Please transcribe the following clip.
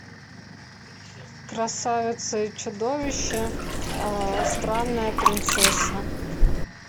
красавица и чудовище странная принцесса